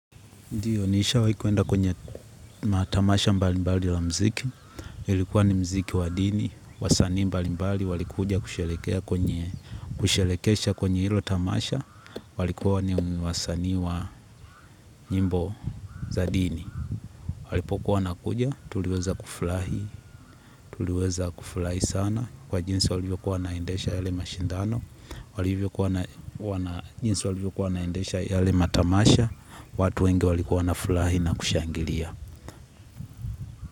Ndio, nishawai kwenda kwenye matamasha mbalimbali la mziki. Ilikuwa ni mziki wa dini, wasanii mbalimbali, walikuja kusherehekea kwenye kusherekesha kwenye ilo tamasha. Walikuwa ni wasanii wa nyimbo za dini. Walipo kuwa na kuja, tuliweza kufurahi, tuliweza kufurahi sana. Kwa jinsi walivyokua wanaendesha yale mashindano, walivyokua wana jinsi walivyokua wanaendesha yale matamasha, watu wenge walikua wanafurahi na kushangilia.